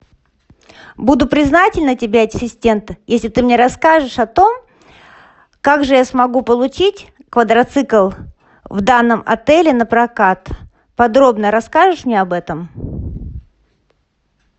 буду признательна тебе ассистент если ты мне расскажешь о том как же я смогу получить квадроцикл в данном отеле напрокат подробно расскажешь мне об этом